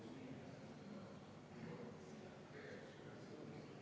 Juhtivkomisjoni seisukoht on jätta arvestamata.